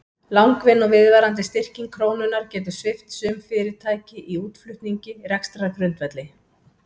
Langvinn og viðvarandi styrking krónunnar getur svipt sum fyrirtæki í útflutningi rekstrargrundvelli.